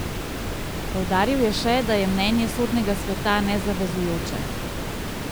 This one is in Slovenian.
Poudaril je še, da je mnenje sodnega sveta nezavezujoče.